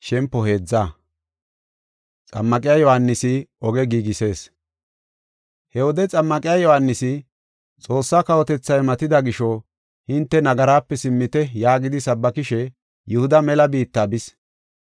He wode Xammaqiya Yohaanisi, “Xoossaa kawotethay matatida gisho hinte nagaraape simmite” yaagidi sabbakishe Yihuda mela biitta bis.